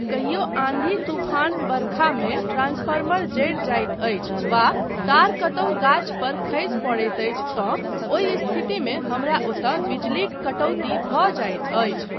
कहियो आन्धी तूफान बरखामे ट्रांसफर्मर जरि जाइत अछि वा तार कतहुँ गाछ पर खसि पड़ैत अछि तँ ओहि स्थितिमे हमरा ओतय बिजलीक कटौती भऽ जाइत अछि।